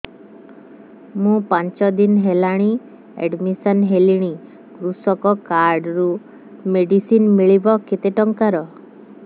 ମୁ ପାଞ୍ଚ ଦିନ ହେଲାଣି ଆଡ୍ମିଶନ ହେଲିଣି କୃଷକ କାର୍ଡ ରୁ ମେଡିସିନ ମିଳିବ କେତେ ଟଙ୍କାର